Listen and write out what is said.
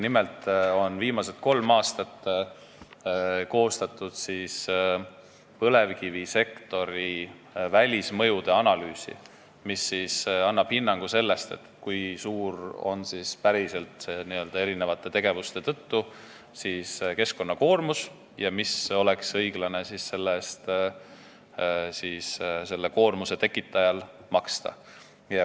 Nimelt on viimased kolm aastat koostatud põlevkivisektori välismõjude analüüsi, mis annab hinnangu, kui suur on päriselt n-ö eri tegevuste tõttu tekkinud keskkonnakoormus ja kui palju oleks selle koormuse tekitajal õiglane selle eest maksta.